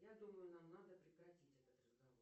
я думаю нам надо прекратить этот разговор